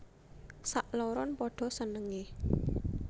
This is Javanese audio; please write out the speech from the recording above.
Sakloron padha senengé